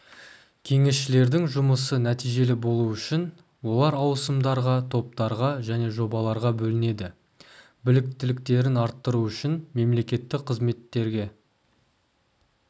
кеңесшілердің жұмысы нәтижелі болуы үшін олар ауысымдарға топтарға және жобаларға бөлінеді біліктіліктерін арттыру үшін мемлекеттік қызметтерге